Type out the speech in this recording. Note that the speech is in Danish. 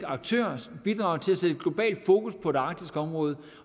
aktør bidrage til at sætte globalt fokus på det arktiske område